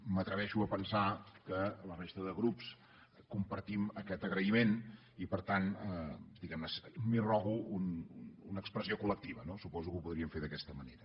m’atreveixo a pensar que la resta de grups compartim aquest agraïment i per tant diguem ne m’arrogo una expressió col·lectiva no suposo que ho podríem fer d’aquesta manera